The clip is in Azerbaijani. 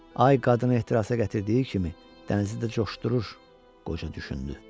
Ay qadını ehtirasa gətirdiyi kimi dənizi də coşdurur, qoca düşündü.